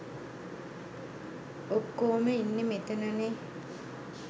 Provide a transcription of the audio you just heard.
ඔක්කෝම ඉන්නේ මෙතනනේ.